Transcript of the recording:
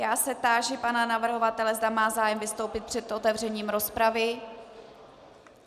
Já se táži pana navrhovatele, zda má zájem vystoupit před otevřením rozpravy.